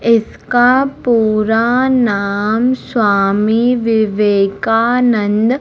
इसका पूरा नाम स्वामी विवेकानंद--